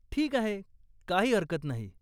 ठीक आहे, काही हरकत नाही.